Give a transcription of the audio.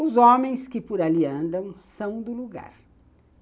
Os homens que por ali andam são do lugar.